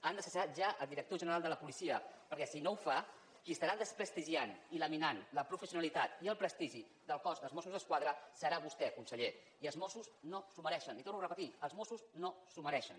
han de cessar ja el director general de la policia perquè si no ho fa qui estarà desprestigiant i laminant la professionalitat i el prestigi del cos dels mossos d’esquadra serà vostè conseller i els mossos no s’ho mereixen li ho torno a repetir els mossos no s’ho mereixen